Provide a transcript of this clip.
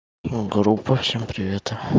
о группа всем привет